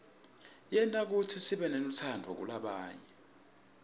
yenta kutsi sibenelutsaadvu kulabanye